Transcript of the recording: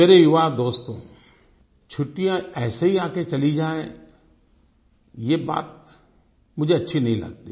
मेरे युवा दोस्तो छुट्टियाँ ऐसे ही आ कर चला जाएं ये बात मुझे अच्छी नहीं लगती